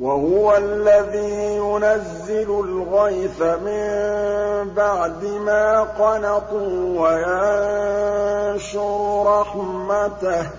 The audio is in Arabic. وَهُوَ الَّذِي يُنَزِّلُ الْغَيْثَ مِن بَعْدِ مَا قَنَطُوا وَيَنشُرُ رَحْمَتَهُ ۚ